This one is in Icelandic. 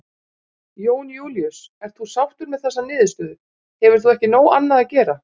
Jón Júlíus: Ert þú sáttur með þessa niðurstöðu, hefur þú ekki nóg annað að gera?